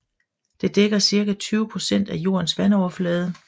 Det dækker cirka 20 procent af jordens vandoverflade